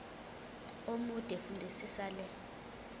omude fundisisa le